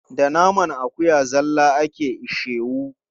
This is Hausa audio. Da naman akuya zalla ake ishewu.